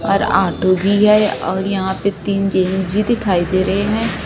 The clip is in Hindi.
और आटो भी और यहां पर तीन जेन्स भी दिखाई दे रहे हैं।